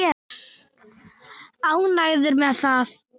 Ánægður með það?